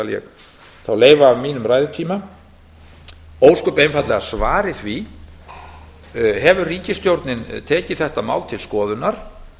ég þá leifa af ræðutíma mínum svari því ósköp einfaldlega hefur ríkisstjórnin tekið málið til skoðunar